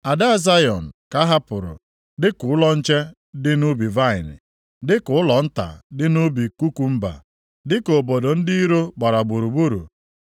Ada Zayọn ka a hapụrụ dịka ụlọ nche dị nʼubi vaịnị, dịka ụlọ nta dị nʼubi kukumba, dịka obodo ndị iro gbara gburugburu.